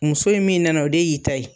Muso in min nana o de y'i ta ye